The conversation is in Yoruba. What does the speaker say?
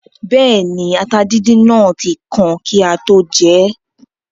Bẹ́ẹ̀ni, ata díndín náà tí kan kí á tó jẹ ẹ́